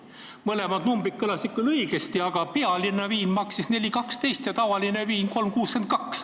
Mõlemad numbrid olid küll õiged, aga Pealinna viin maksis 4.12 ja tavaline viin 3.62.